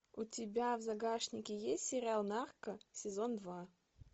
у тебя в загашнике есть сериал нарко сезон два